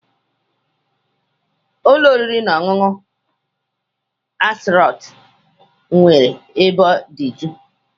Ụlọ oriri na ọṅụṅụ Aristocrat nwere ebe dị jụụ.